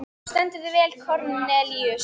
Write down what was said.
Þú stendur þig vel, Kornelíus!